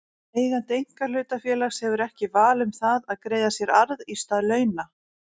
Eigandi einkahlutafélags hefur ekki val um það að greiða sér arð í stað launa.